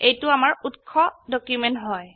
এইটো আমাৰ উৎস ডকিউমেন্ট হয়